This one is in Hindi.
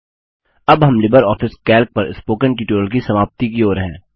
अब हम लिबर ऑफिस कैल्क पर स्पोकन ट्यूटोरियल की समाप्ति की ओर हैं